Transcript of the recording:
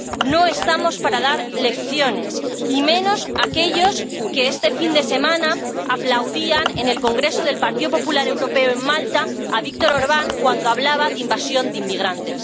No estamos para dar lecciones y menos aquellos que este fin de semana aplaudían en el congreso del Partido Popular Europeo en Malta a Viktor Orbán cuando hablaba de invasión de inmigrantes.